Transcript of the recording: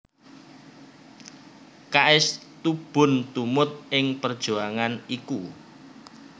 K S Tubun tumut ing perjuangan iku